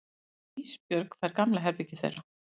Ísbjörg fær gamla herbergið þeirra.